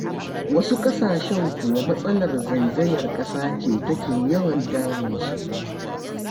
Wasu ƙasashen kuwa matsalar zaizayar ƙasa ce take yawan damunsu.